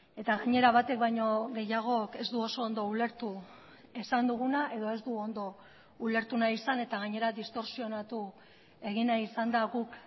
eta gainera batek baino gehiagok ez du oso ondo ulertu esan duguna edo ez du ondo ulertu nahi izan eta gainera distortsionatu egin nahi izan da guk